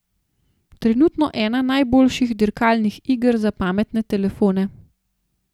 Trenutno ena najboljših dirkalnih iger za pametne telefone.